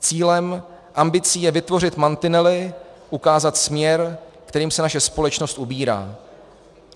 Cílem, ambicí je vytvořit mantinely, ukázat směr, kterým se naše společnost ubírá.